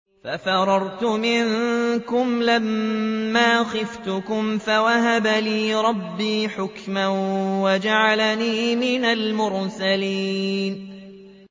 فَفَرَرْتُ مِنكُمْ لَمَّا خِفْتُكُمْ فَوَهَبَ لِي رَبِّي حُكْمًا وَجَعَلَنِي مِنَ الْمُرْسَلِينَ